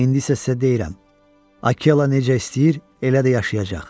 İndi isə sizə deyirəm, Akela necə istəyir elə də yaşayacaq.